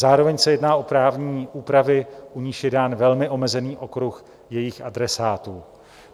Zároveň se jedná o právní úpravy, u nichž je dán velmi omezený okruh jejich adresátů.